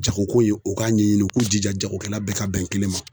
Jagoko ko ye , u k'a ɲɛɲini u k'u jija, jagokɛla bɛɛ ka bɛn kelen ma.